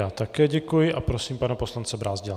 Já také děkuji a prosím pana poslance Brázdila.